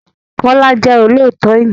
Kọ́lá jẹ́ olóòtọ èèyàn.